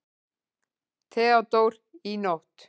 THEODÓRA: Í nótt.